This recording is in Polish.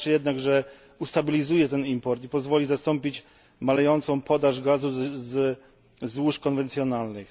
Wystarczy jednak, że ustabilizuje ten import i pozwoli zastąpić malejącą podaż gazu ze złóż konwencjonalnych.